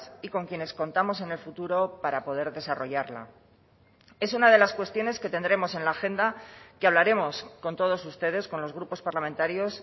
y con quienes contamos en el futuro para poder desarrollarla es una de las cuestiones que tendremos en la agenda que hablaremos con todos ustedes con los grupos parlamentarios